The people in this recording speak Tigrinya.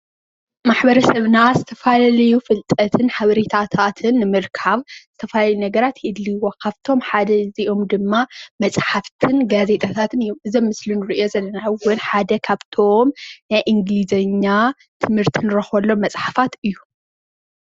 ማሕበረሰብና ዝተፈላለዩ ፍልጠትን ሓበሬታትን ንምርካብ ዝተፈላለዩ ነገራት የድልይዎ። ካብቶም ሓደ እዚኦም ድማ መፅሓፍቲ ጋዜጣታትን እዮም። እዚ ኣብ ምስሊ ንሪኦ ዘለና እዉን ሓደ ካብቶም ናይ እንግሊዘኛ ትምርቲ ንረክበሎም መፅሓፋት እዩ።